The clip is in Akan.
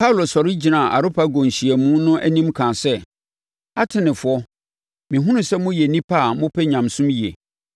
Paulo sɔre gyinaa Areopago nhyiamu no anim kaa sɛ, “Atenefoɔ, mehunu sɛ moyɛ nnipa a mopɛ nyamesom yie.